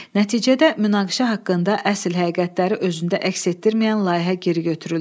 Nəticədə münaqişə haqqında əsl həqiqətləri özündə əks etdirməyən layihə geri götürüldü.